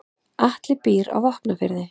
Atli býr á Vopnafirði.